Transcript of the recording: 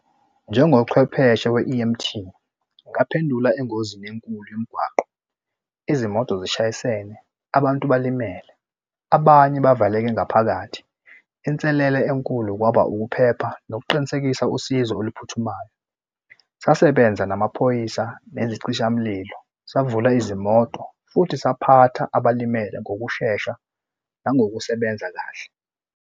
Njengochwepheshe we-E_M_T ngingaphendula engozini enkulu yemigwaqo izimoto zishayisene abantu balimele, abanye bavaleleke ngaphakathi. Inselelo enkulu kwaba ukuphepha nokuqinisekisa usizo oluphuthumayo, sasebenza namaphoyisa nezicishamulilo savula izimoto futhi saphatha abalimele ngokushesha nangokusebenza kahle.